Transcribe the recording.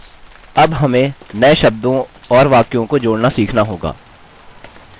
अब हमें नए शब्दों और वाक्यों को जोड़ना सीखना होगा